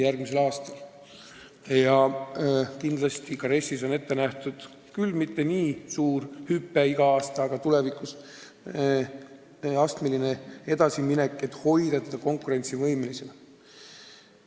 Ja RES-is on ette nähtud mitte küll nii suur hüpe igal aastal, aga astmeline palgatõus, et hoida need palgad konkurentsivõimelised.